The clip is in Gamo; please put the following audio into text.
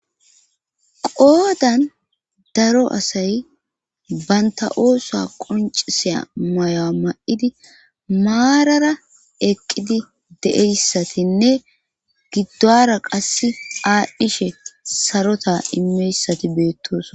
qoodan daro asay banta oosa qonciseya mayo ma7idi maarara eqqidi de7eyssatinne giddora qasse aadhdhishe sarota imeyssati beettoos